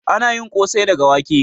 Ana yin ƙosai daga wake.